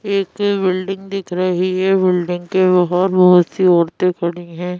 एक बिल्डिंग दिख रही है बिल्डिंग के बाहर बहुत सी औरतें खड़ी हैं।